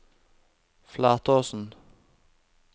Flatåsen